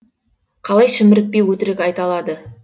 қалай шімірікпей өтірік айта алады